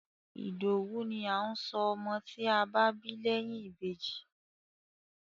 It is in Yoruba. Ìdòwú ni à ń sọ ọmọ tí a bá bí lẹ́yìn Ìbejì.